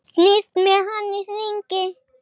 Snýst með hann í hringi.